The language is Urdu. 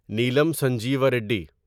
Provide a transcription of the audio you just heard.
نیلم سنجیوا ریڈی